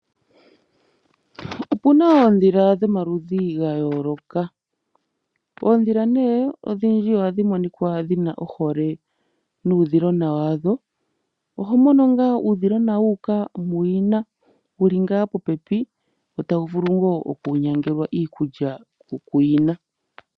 Opuna oondhila dhomaludhi ga yooloka. Oondhila odhindji ohadhi monika dhina ohole nuudhilona wadho. Oho mono ngaa uudhilona wu uka muyina, wuli ngaa popepi, tawu vula ngaa oku nyangelwa iikulya kuyina.